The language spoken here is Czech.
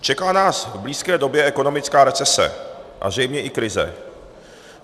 Čeká nás v blízké době ekonomická recese a zřejmě i krize.